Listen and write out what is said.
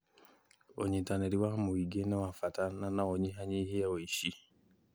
ũnyitanĩri wa mũingĩ nĩ wa bata na no unyihanyihie ũici